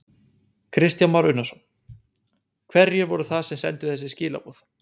Kristján Már Unnarsson: Hverjir voru það sem sendu þessi skilaboð?